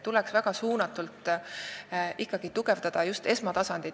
Tuleks väga suunatult tugevdada just esmatasandit.